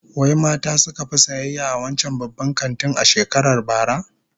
Wai mata suka fi sayayya a wancan babban kantin a shekarar bara?